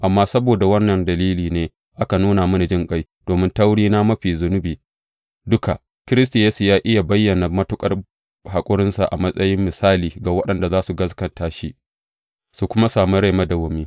Amma saboda wannan dalilin ne aka nuna mini jinƙai domin ta wurina, mafi zunubi duka, Kiristi Yesu yă iya bayyana matuƙar haƙurinsa a matsayin misali ga waɗanda za su gaskata shi su kuma sami rai madawwami.